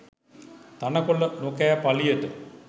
තණකොළ නොකෑ පළියට